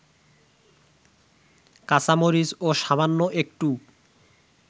কাঁচামরিচ ও সামান্য একটু